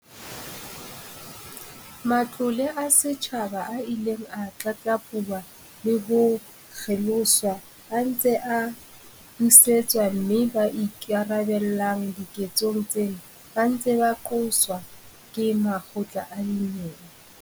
Matlole a setjhaba a ileng a tlatlapuwa le ho kgeloswa a ntse a busetswa mme ba ikarabellang diketsong tsena ba ntse ba qoswa ke makgotla a dinyewe.